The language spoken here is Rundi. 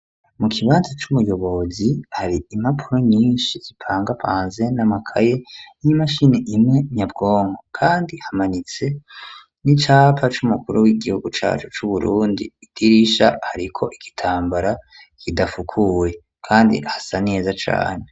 Mu kibanza c'ubuyobozi hari impapuro nyinshi zipangapanze n'amakaye n'imashini imwe nyabwongo kandi hamanitse n'icapa c'umukuru w'igihugu cacu c'uburundi idirisha hariko igitambara kidafukuwe kandi hasa neza cane.